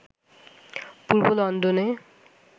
পূর্ব লন্ডনে